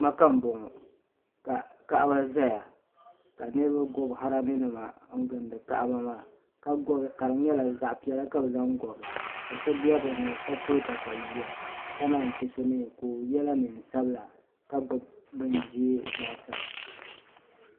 Maka n bɔŋo ka kaɣaba zaya ka niriba gɔbi harami nima n gindi kaɣaba maa ka di nyɛla zaɣa piɛla ka bi zaŋ gɔbi ka so bɛ bi ni ka to takayuya ka naan yi che so mi ka o yɛla niɛn sabila ka gbubi bin ʒee laasabu.